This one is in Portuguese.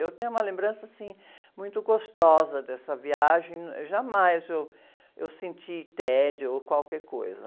Eu tenho uma lembrança, assim, muito gostosa dessa viagem, jamais eu senti tédio ou qualquer coisa.